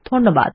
ধন্যবাদ